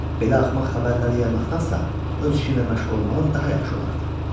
Belə axmaq xəbərləri yaymaqdansa, öz işinlə məşğul olmağın daha yaxşı olardı.